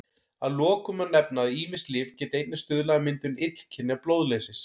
Að lokum má nefna að ýmis lyf geta einnig stuðlað að myndun illkynja blóðleysis.